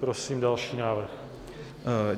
Prosím další návrh.